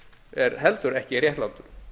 er heldur ekki réttlátur